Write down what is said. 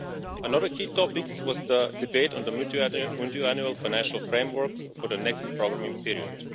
Another key topic was the debate on the Multiannual Financial Framework for the next programming period.